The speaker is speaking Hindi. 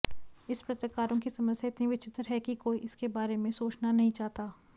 इस पत्रकारों की समस्या इतनी विचित्र है कि कोई इसके बारे में सोचना नहीं चाहता